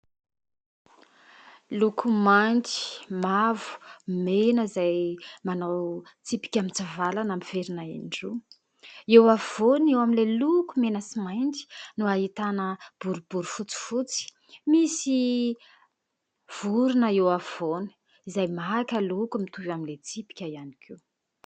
Loko mainty, mavo, mena izay manao tsipika mitsivilana miverina in-droa. Eo afovoany eo amin'ilay loko mena sy mainty no ahitana boribory fotsifotsy, misy vorona eo afovoany izay maka loko mitovy amin'ilay tsipika ihany koa.